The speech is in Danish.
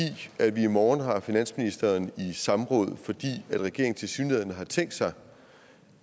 vi i morgen har finansministeren i samråd fordi regeringen tilsyneladende har tænkt sig